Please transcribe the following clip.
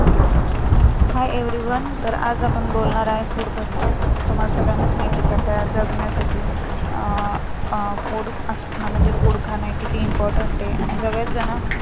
hi everyone तर आज आपण बोलणार आहे food बद्दल तुम्हाला सगळ्यांनाच माहिती आहे जगण्यासाठी अं food खाणं हे किती important आहे, आणि सगळेच जण